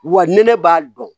Wa ni ne b'a dɔn